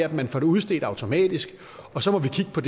at man får det udstedt automatisk og så må vi kigge på